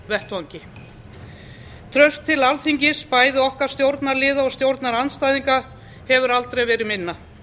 vettvangi traust til alþingis bæði okkar stjórnarliða og stjórnarandstæðinga hefur aldrei verið minna